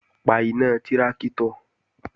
Pa iná tráktọ̀!